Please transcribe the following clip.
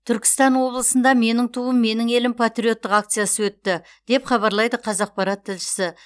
түркістан облысында менің туым менің елім патриоттық акциясы өтті деп хабарлайды қазақпарат тілшісі